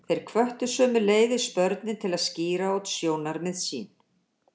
Þeir hvöttu sömuleiðis börnin til að skýra út sjónarmið sín.